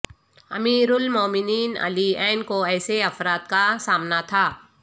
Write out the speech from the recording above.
امیرالمومنین علی ع کو ایسے افراد کا سامنا تھا